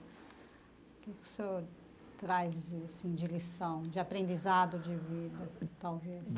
O que o senhor traz de assim de lição, de aprendizado de vida, talvez?